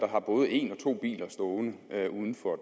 har både en og to biler stående uden for